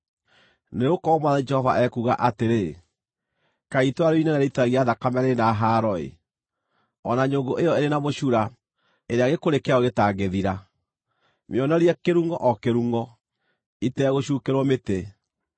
“ ‘Nĩgũkorwo Mwathani Jehova ekuuga atĩrĩ: “ ‘Kaĩ itũũra rĩu inene rĩitithagia thakame rĩrĩ na haro-ĩ, o na nyũngũ ĩyo ĩrĩ na mũcura, ĩrĩa gĩkũrĩ kĩayo gĩtangĩthira! Mĩonorie kĩrungʼo, o kĩrungʼo, itegũcuukĩrwo mĩtĩ.